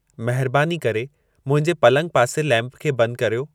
महिरबानी करे मुंहिंजे पलंगु पासे लैम्प खे बंदु कर्यो